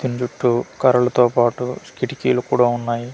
దీన్ చుట్టూ కర్రలతో పట్టు కిటికీలు కూడా ఉన్నాయి.